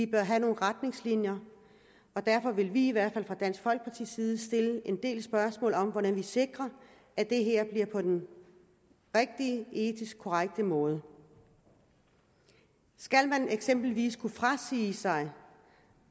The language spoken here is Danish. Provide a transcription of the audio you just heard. bør have nogle retningslinjer og derfor vil vi i hvert fald fra dansk folkepartis side stille en del spørgsmål om hvordan man sikrer at det her bliver på den rigtige etisk korrekte måde skal man eksempelvis kunne frasige sig